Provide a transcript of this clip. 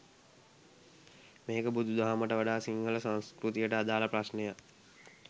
මේක බුදු දහමට වඩා සිංහල සංස්කෘතියට අදාළ ප්‍රශ්නයක්.